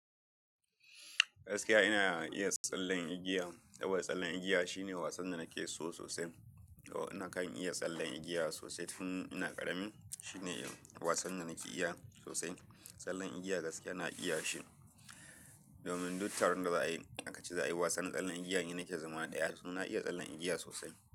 Gaskiya ina iya tsallen igiya. Dawai tsallen igiya shine wasan da nake so sosai. Do nakan iya tsallen igiya sosai tun ina ƙarami. Shine wasan da nake iya sosai. Tsallen igiya gaskiya ina iya shi. Domin duttaron da za a yi, aka ce za a yi wasan tsallen igiya, ni nake zama ɗaya domin na iya tsallen igiya sosai.